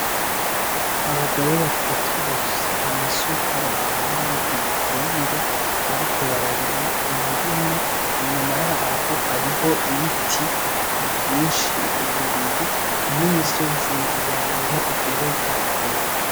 Abagore batatu bafise amasuka bambaye ibitenge bariko bararima umurima inyuma yabo hariho ibiti vyinshi bibiri n'imisozi miremire igereza kure.